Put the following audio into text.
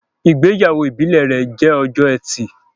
Ìgbéyàwó ìbílè rẹ jẹ Ọjọ́ Ẹti